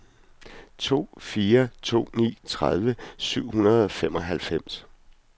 to fire to ni tredive syv hundrede og femoghalvfems